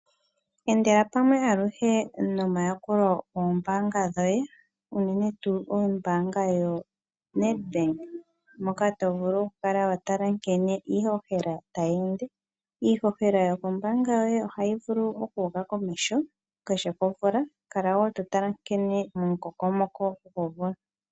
Endela pamwe aluhe nomayakulo gombaanga dhoye unene tuu ombaanga yoNedbank, moka to vulu oku kala wa tala nkene iihohela ta yi ende. Iihohela yokombaanga yoye ohayi vulu oku uka komeho kehe komvula, kala wo totala nkene momukokomoko gwomvula.